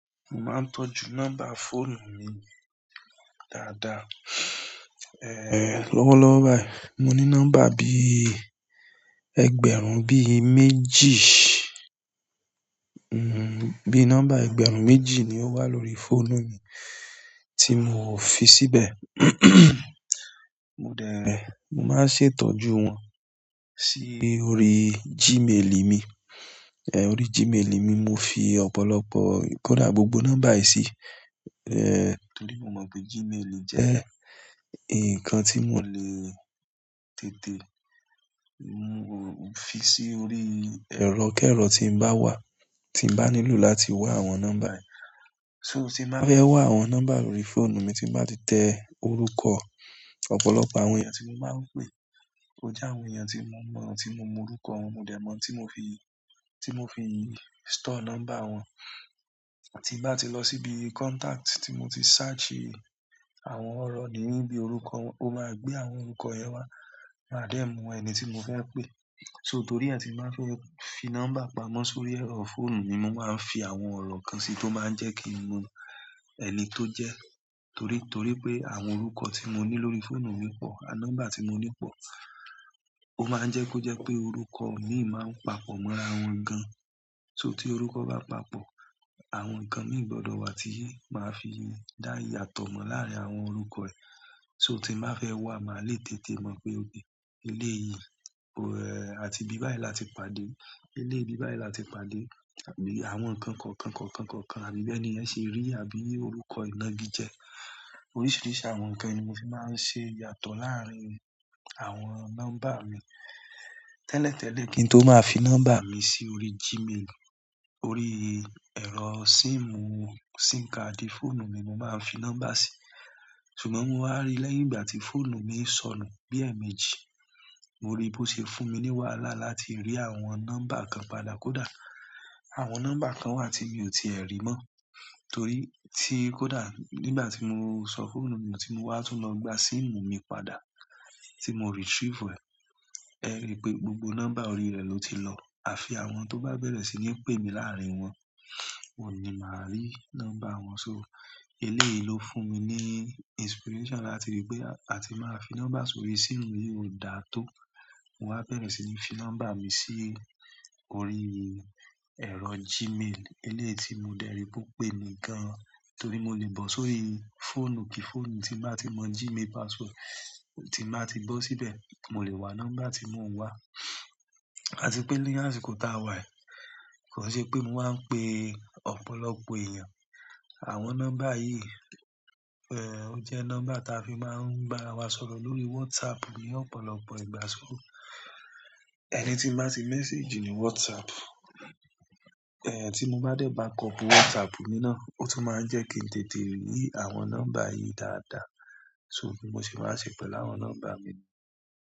Mo máa ń tọ́jú nọ́mbà fóònù mi dáadáa. Lọ́wọ́lọ́wọ́ báyìí, mo ní nọ́mbà bí i ẹgbẹ̀rún bí i méjì, bí i nọ́mbà ẹgbẹ̀rún méjì ni ó wà lórí fóònù mi tí mo fi síbẹ̀. Mo dẹ̀, mo máa ń ṣètọ́jú wọn sí orí Gmail mi. Orí Gmail mi, mo fi ọ̀pọ̀lọpọ̀, kódà gbogbo nọ́mbà yìí sí. Torí mo mọ̀ pé Gmail jẹ́ nǹkan tí mo lè tètè fi sí orí ẹ̀rọ kẹ́rọ̀ tí n bá wà, tí n bá nílò láti wá àwọn nọ́mbà yìí. Tí n bàá fẹ́ wá àwọn nọ́mbà lórí fóònù mi tí n bàá ti tẹ orúkọ ọ̀pọ̀lọpọ̀ àwọn èèyàn tí mo máa ń pè, ó jẹ́ àwọn èèyàn tí mo mọ̀, tí mo mọ orúkọ wọn. Mo dẹ̀ mọ̀ n tí mo fi, tí mo fi store nọ́mbà wọn. Tí n bá ti lọ síbi contact tí mo ti search àwọn ọ̀rọ̀ nínú ibi orúkọ wọn, ó máa gbé àwọn orúkọ yẹn wá, màá dẹ̀ mu ẹni tí mo fẹ́ pè. Torí ẹ ti n ba fẹ́ fi nọ́mbà pamọ́ sórí ẹ̀rọ fóònù ni mo máa ń fi àwọn ọ̀rọ̀ kan sí tó máa ń jẹ́ kí n mọ ẹni tó jẹ́. Torí, torí pé àwọn orúkọ tí mo ní lórí fóònù mi pọ̀, àwọn nọ́mbà tí mo ní pọ̀. Ó máa ń jẹ́ kó jẹ́ pé orúkọ mi máa ń papọ̀ mọ́ra wọn gan. So tí orúkọ bá papọ̀, àwọn nǹkan mì í gbọdọ̀ wà tí máa fi dá ìyàtọ̀ mọ̀ láàárín àwọn orúkọ yìí. Tí n bàá fẹ́ wà, màá le tètè mọ̀ pé, eleyìí àti ibi báyìí láti pàdé, eléyi ibi báyìí láti pàdé, àbí àwọn nǹkan kọ̀ọ̀kan kọ̀ọ̀kan kọ̀ọ̀kan, àbí bí ẹni yẹn ṣe rí, àbí orúkọ ìnági jẹ. Oríṣìíríṣìí àwọn nǹkan ni mo fi máa ń ṣe yàtọ̀ láàárín àwọn nọ́mbà mi. Tẹ́lẹ̀tẹ́lẹ̀ kí n tó máa fi nọ́mbà mi sí orí Gmail, orí ẹ̀rọ síìmù, SIM card fóònù ni mo máa ń fi nọ́mbà sí. Ṣùgbọ́n mo wá rí lẹ́yìn ìgbà tí fóònù mi sọnù bíi ẹmèjì, mo rí bí ó ṣe fún mi ní wàhálà láti rí àwọn nọ́mbà kan padà. Kódà àwọn nọ́mbà kan wà tí mi ò tíì ẹ́ rí mọ́. Torí tí kódà nígbà tí mo sọ fóònù mi nu tí mo wá tún lọ gba SIM mi padà tí mo retrieve rẹ̀, ẹ rí pé gbogbo nọ́mbà orí rẹ̀ ló ti lọ. A fi àwọn tó bá bẹ̀rẹ̀ sí ní pè mí láàárín wọn, oun ni màá rí nọ́mbà wọn. So eléèyì ló fún mi ní inspiration láti rí pé a ti máa fi nọ́mbà sórí síìmù yí ò dáa tó. Mo wá bẹ̀rẹ̀ sí ní fi nọ́mbà mi sí orí ẹ̀rọ Gmail eléèyì tí mo dẹ̀ rí pé ó pè mí gan. Torí mo lè bọ̀ sórí fóònù kìí fóònù tí màá ti mọ Gmail password, tí n bàá ti bọ́ síbẹ̀, mo lè wá nọ́mbà tí mò ń wá. A tì pé ní àsìkò táa wà yìí, kò n ṣe pé mo máa ń pè ọ̀pọ̀lọpọ̀ èèyàn. Àwọn nọ́mbà yìí, ehn, ó jẹ́ nọ́mbà tí a fi máa ń bá wa sọ̀rọ̀ lórí WhatsApp ní ọ̀pọ̀lọpọ̀ ìgbà. Ẹni tí n nàá ti message ní WhatsApp, ehn, tí mo bá dé backup WhatsApp mi náà, ó tún máa ń jẹ́ kí n tètè rí àwọn nọ́mbà yìí dáadáa. Bí mo ṣe máa n ṣe pẹ̀lú àwọn nọ́mbà mi.